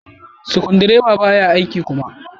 Sukudireban baya aiki kuma.